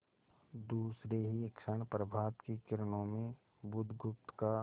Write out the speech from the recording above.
दूसरे ही क्षण प्रभात की किरणों में बुधगुप्त का